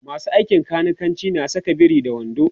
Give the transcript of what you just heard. masu aikin kanikanci na Saka biri da wando